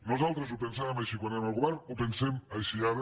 nosaltres ho pensàvem així quan érem al govern ho pensem així ara